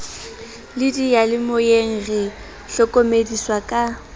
le diyalemoyeng re hlokomediswa ka